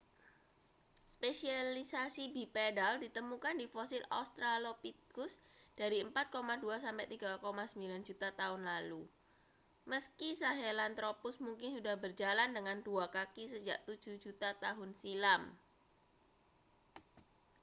spesialisasi bipedal ditemukan di fosil australopithcus dari 4,2-3,9 juta tahun lalu meski sahelanthropus mungkin sudah berjalan dengan dua kaki sejak tujuh juta tahun silam